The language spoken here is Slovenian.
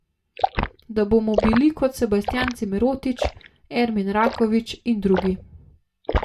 Da bomo bili kot Sebastjan Cimerotić, Ermin Raković in drugi.